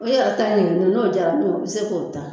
O ye a ta ɲininga n'o jara min ye o bɛ se k'o ta.